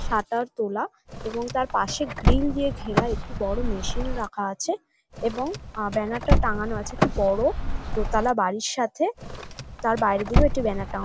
Shutter তোলা এবং তার পাশে গ্রিল দিয়ে ঘেরা একটি বড় মেশিন রাখা আছে এবং ব্যানার -টা টানানো আছে। একটি বড় দোতলা বাড়ির সাথে তার বাইরের দিকেও একটি ব্যানার টানানো।